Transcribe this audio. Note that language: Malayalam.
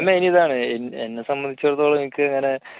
main ഇതാണ് എന്നെ സംബന്ധിച്ചിടത്തോളം എനിക്ക് ഇങ്ങനെ